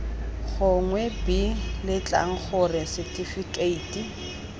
gongwe b letlang gore setifikeiti